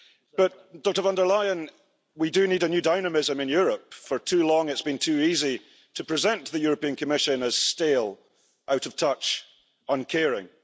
But Dr von der Leyen, we do need a new dynamism in Europe. For too long it's been too easy to present the European Commission as stale, out of touch, uncaring.